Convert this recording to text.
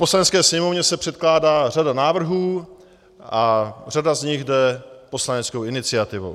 Poslanecké sněmovně se předkládá řada návrhů a řada z nich jde poslaneckou iniciativou.